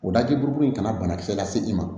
O laki burukuru in kana banakisɛ lase i ma